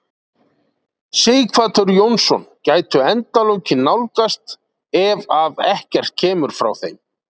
Sighvatur Jónsson: Gætu endalokin nálgast ef að ekkert kemur frá þeim?